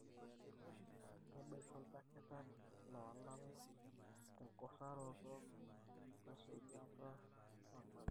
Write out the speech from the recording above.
tabaiki oldakitari lolala tenguraroto wesujata nanare.